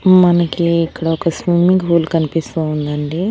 మనకి ఇక్కడ ఒక స్విమ్మింగ్ పూల్ కనిపిస్తూ ఉందండి.